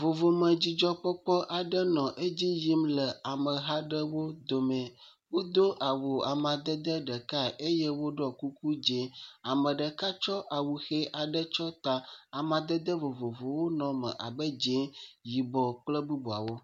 Vovome dzidzɔkpɔkpɔ aɖe nɔ edzi yim le ameha aɖewo dome. Wodo awu amadede ɖekae eye woɖɔ kuku dzɛ̃. Ame ɖeka tsɔ awu ʋi aɖe tsɔ ta. Amadede vovovowo nɔ eme abe dzɛ̃, yibɔ kple bubuawo.